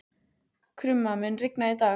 Krumma, mun rigna í dag?